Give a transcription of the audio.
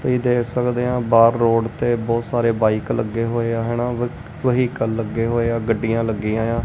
ਤੁਹੀ ਦੇਖ ਸਕਦੇ ਐਂ ਬਾਹਰ ਰੋਡ ਤੇ ਬਹੁਤ ਸਾਰੇ ਬਾਈਕ ਲੱਗੇ ਹੋਏ ਆ ਹੈਨਾ ਵਹੀਕਲ ਲੱਗੇ ਹੋਏ ਆ ਗੱਡੀਆਂ ਲੱਗੀਆਂ ਐ।